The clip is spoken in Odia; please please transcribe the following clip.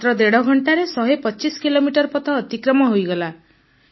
ମାତ୍ର ଦେଢ଼ ଘଂଟାରେ 125 କିଲୋମିଟର ପଥ ଅତିକ୍ରମ ହେଇଗଲା